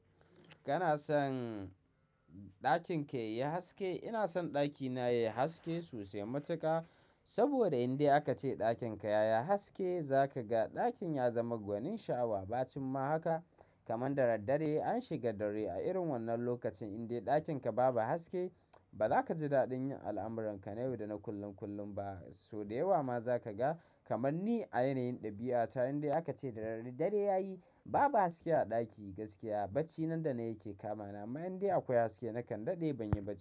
Kana son ɗakin ka yayi haske? Ina son ɗakina yayi haske sosai matuƙa. Saboda indai aka ce ɗakin ka ya yi haske, za ka ga ɗakin ya zama gwanin sha'awa. Bacin ma haka. Kaman da dad dare an shiga dare a irin wannan lokacin, indai ɗakin ka baba haske, ba za ka ji daɗin yin al'amuranka na yau da na kullum kullum ba. So da yawa ma za ka ga, kaman ni a yanayin ɗabi'a, ta inda aka ce dare dare ya yi, babu haske a ɗaki gaskiya bacci nan da nan yake kama na. Amma indai akwai haske, na kande dai ban yi ba.